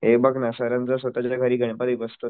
हे बघ ना सरांचं स्वतःच्या घरी गणपती बसतो,